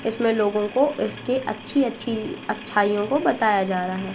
इसमें लोगों को इसके अच्छी अच्छी अच्छाइयों का बताया जा रहा है।